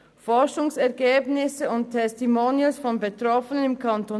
Forschungsergebnisse und Testimonials von Betroffenen im Kanton